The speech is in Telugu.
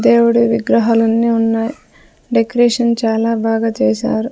దేవుడు విగ్రహాలు అన్నీ ఉన్నాయి డెకరేషన్ చాలా బాగా చేసారు.